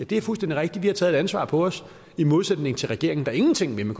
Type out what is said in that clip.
det er fuldstændig rigtigt vi har taget et ansvar på os i modsætning til regeringen der ingenting vil med